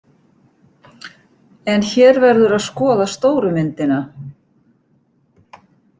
En hér verður að skoða stóru myndina.